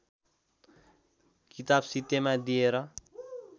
किताब सित्तैमा दिएर